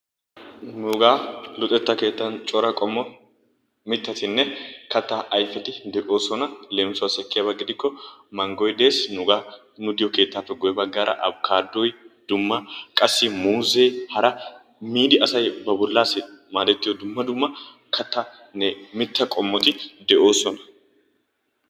Nugaa luxxetta keettan cora qommo mittatinne kattaa ayfeti de"oosona. leemisuwaasi ekkiyaaba gidikko manggoy des nugaa nu keettaappe guyye baggaara apikaadoy dumma qassi muuzzee hara miidi qassi asay ba bollaasi maadettiyoo dumma dumma kattaanne mittaa qommoti de'oosona.